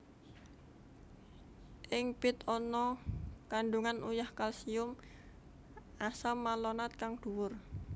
Ing bit ana kandungan uyah kalsium asam malonat kang duwur